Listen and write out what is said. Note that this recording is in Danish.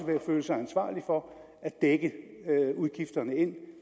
føle sig ansvarlig for at dække udgifterne ind